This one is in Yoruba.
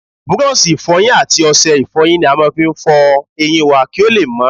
Búrọ̀ṣì Ìfọ̀yín àti ọṣẹ Ìfọ̀yín ni a máa fi ń fọ eyín wá kí ó lè mọ́